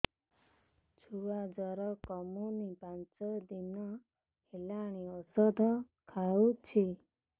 ଛୁଆ ଜର କମୁନି ପାଞ୍ଚ ଦିନ ହେଲାଣି ଔଷଧ ଖାଉଛି